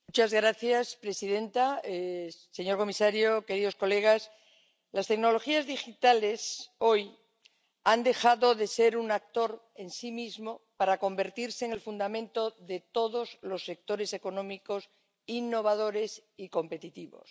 Señora presidenta, señor comisario, queridos colegas, las tecnologías digitales, hoy, han dejado de ser un actor en sí mismo para convertirse en el fundamento de todos los sectores económicos innovadores y competitivos.